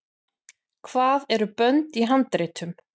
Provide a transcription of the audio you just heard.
hvað eru bönd í handritum